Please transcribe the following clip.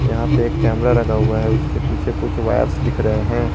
यहां पे एक कैमरा लगा हुआ है उसके पीछे कुछ वायरस दिख रहे हैं।